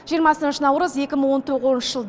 жиырмасыншы наурыз екі мың он тоғызыншы жыл